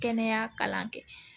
Kɛnɛya kalan kɛ